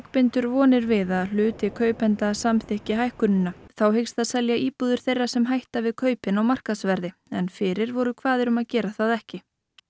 bindur vonir við að hluti kaupenda samþykki hækkunina þá hyggst það selja íbúðir þeirra sem hætta við kaupin á markaðsverði en fyrir voru kvaðir um að gera það ekki